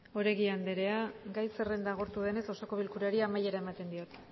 oregi anderea gai zerrenda agortu denez oso bilkurari amaiera ematen diot